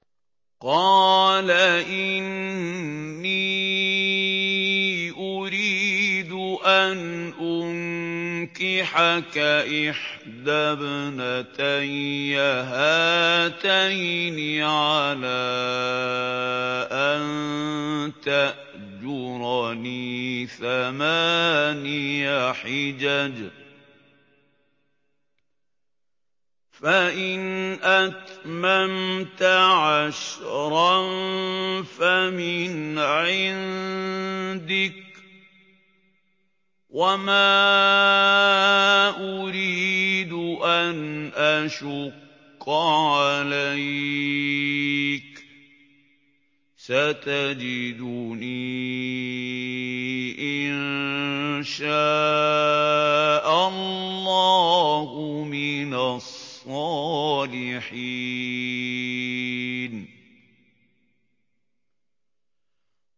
قَالَ إِنِّي أُرِيدُ أَنْ أُنكِحَكَ إِحْدَى ابْنَتَيَّ هَاتَيْنِ عَلَىٰ أَن تَأْجُرَنِي ثَمَانِيَ حِجَجٍ ۖ فَإِنْ أَتْمَمْتَ عَشْرًا فَمِنْ عِندِكَ ۖ وَمَا أُرِيدُ أَنْ أَشُقَّ عَلَيْكَ ۚ سَتَجِدُنِي إِن شَاءَ اللَّهُ مِنَ الصَّالِحِينَ